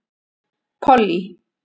Pollý